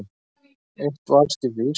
Eitt varðskip við Ísland